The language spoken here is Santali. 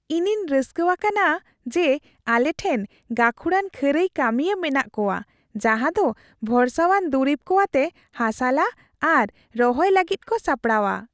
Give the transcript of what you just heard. ᱤᱧᱤᱧ ᱨᱟᱹᱥᱠᱟᱹ ᱟᱠᱟᱱᱟ ᱡᱮ ᱟᱞᱮᱴᱷᱮᱱ ᱜᱟᱹᱠᱷᱩᱲᱟᱱ ᱠᱷᱟᱹᱨᱟᱹᱭ ᱠᱟᱹᱢᱤᱭᱟᱹ ᱢᱮᱱᱟᱜ ᱠᱚᱣᱟ ᱡᱟᱦᱟᱸ ᱫᱚ ᱵᱷᱚᱨᱥᱟᱣᱟᱱ ᱫᱩᱨᱤᱵ ᱠᱚ ᱟᱛᱮ ᱦᱟᱥᱟ ᱞᱟ ᱟᱨ ᱨᱚᱦᱚᱭ ᱞᱟᱹᱜᱤᱫ ᱠᱚ ᱥᱟᱯᱲᱟᱣᱟ ᱾